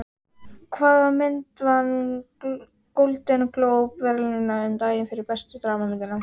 Hvaða mynd vann Golden Globe verðlaunin um daginn fyrir bestu dramamynd?